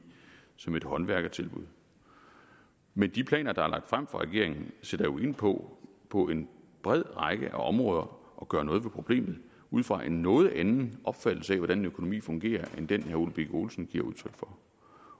som et håndværkertilbud men de planer der er lagt frem fra regeringen sætter jo ind på på en bred række af områder og gør noget ved problemet ud fra en noget anden opfattelse af hvordan en økonomi fungerer end den herre ole birk olesen giver udtryk for